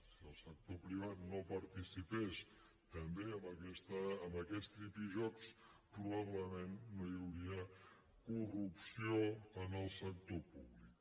si el sector privat no participés també en aquests tripijocs probablement no hi hauria corrupció en el sector públic